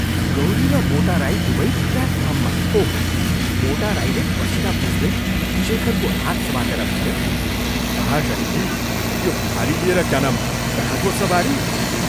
गौरी र मोटा राई दुवै प्ल्याटफार्ममा ओहो, मोटा राईले पसीना पुछ्दै शेखरको हात समातेर भन्यो, "महाशयजी यो भारी लिएर क्या नाम कहाँको सवारी?